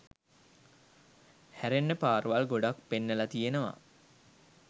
හැරෙන්න පාරවල් ගොඩක් පෙන්නල තියෙනව.